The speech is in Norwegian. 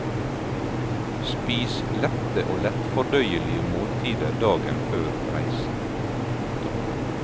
Spis lette og lettfordøyelige måltider dagen før reisen. punktum